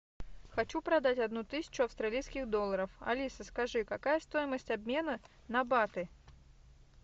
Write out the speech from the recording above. хочу продать одну тысячу австралийских долларов алиса скажи какая стоимость обмена на баты